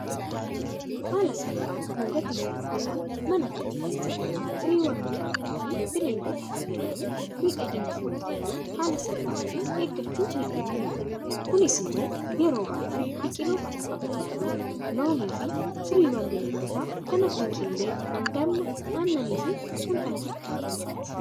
Haala salphaan, gatii salphaadhaan, mana keenya keessatti firiiwwan biqiltootaafi bineeldotaa fayyadamuun miidhagina fuulla keenyaa haala salphaa ta'een eeggachuu ni dandeenya. kunis immoo yeroo baay'ee biqiltoota akka avokaadoo, loomiifi firiiwwan bineeldotaa kan akka killee, damma, aannaniifi kan kan fakkaatan faati.